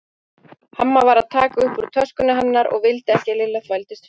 Amma var að taka upp úr töskunni hennar og vildi ekki að Lilla þvældist fyrir.